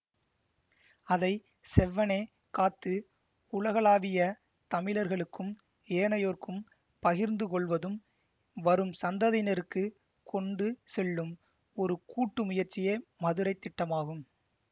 அதை செவ்வனே காத்து உலகலாவிய தமிழர்களுக்கும் ஏனையோருக்கும் பகிர்ந்துகொள்வதும் வரும் சந்ததியினருக்கு கொண்டு செல்லும் ஒரு கூட்டு முயற்சியே மதுரைத் திட்டமாகும்